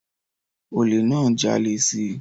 Olè náà ń jalè si